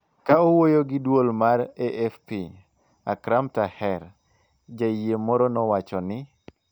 Ka owuoyo gi duol mar AFP, Akram Taher, jayie moro nowacho ni